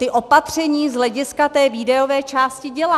Ta opatření z hlediska té výdajové části dělá.